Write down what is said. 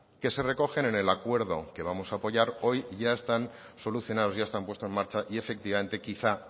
que se recogen en el acuerdo que vamos a apoyar hoy ya están solucionados ya están puesto en marcha y efectivamente quizá